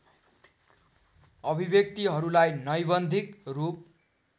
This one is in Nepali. अभिव्यक्तिहरूलाई नैबन्धिक रूप